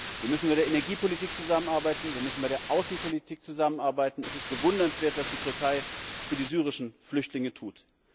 Wir müssen bei der Energiepolitik zusammenarbeiten, wir müssen bei der Außenpolitik zusammenarbeiten es ist bewundernswert, was die Türkei für die syrischen Flüchtlinge tut.